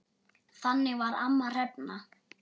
Þannig var amma Hrefna.